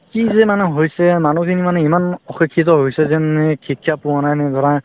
কি যে মানে হৈছে মানুহ মানে ইমান অশিক্ষিত হৈছে যে মানে শিক্ষা পোৱা নাই নে ধৰা